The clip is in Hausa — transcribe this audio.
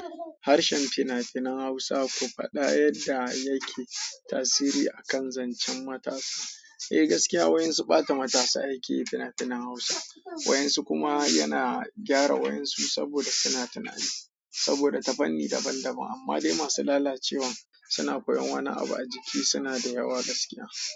Harshen fina-finan Hausa, ku faɗa yadda yake tasiri a kan zancen matasa. Eh gaskiya, wa'insu ɓata matasa yake yi fina-finan Hausa. Wa'insu kuma yana gyara wa'insu saboda fina-finai, saboda ta fanni daban-daban. Amma dai masu lalacewan, suna koyon wani abu a jiki suna da yawa gaskiya.